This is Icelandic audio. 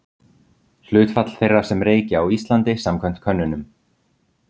hlutfall þeirra sem reykja á íslandi samkvæmt könnunum